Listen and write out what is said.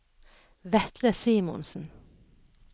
Vetle Simonsen